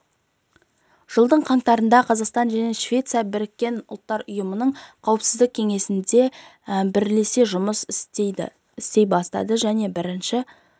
жылдың қаңтарында қазақстан мен швеция біріккен ұлттар ұйымының қауіпсіздік кеңесінде бірлесе жұмыс істей бастады және бірінші